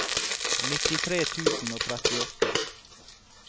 nittitre tusen og trettiåtte